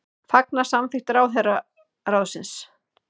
Fagna samþykkt ráðherraráðsins